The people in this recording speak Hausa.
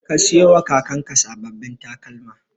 Ka siyowa kakanka sababbin takalma.